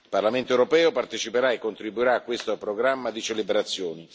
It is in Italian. Il Parlamento europeo parteciperà e contribuirà a questo programma di celebrazioni.